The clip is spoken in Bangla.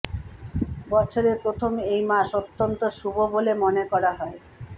বছরের প্রথম এই মাস অত্যন্ত শুভ বলে মনে করা হয়